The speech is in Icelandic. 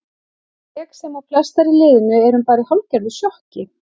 Ég sem og flestar í liðinu erum bara í hálfgerðu sjokki.